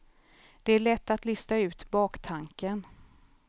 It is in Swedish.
Det är lätt att lista ut baktanken.